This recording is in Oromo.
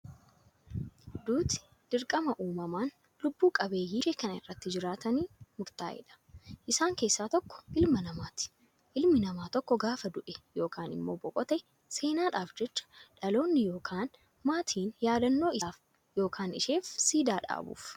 Duuti dirqama uumamaan lubbu qabeeyyii dachee kana irra jiranitti murtaa'edha. Isaan keessaa tokko ilma namaati. Ilmi namaa tokko gaafa du'e yookaan immoo boqote seenaadhaaf jecha dhaloonni yookaan maatiin yaadannoo isaaf yookaan isheef siidaa dhaabuuf.